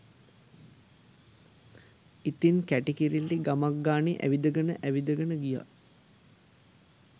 ඉතින් කැටි කිරිල්ලි ගමක් ගානෙ ඇවිදගෙන ඇවිදගෙන ගියා